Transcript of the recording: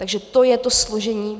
Takže to je to složení.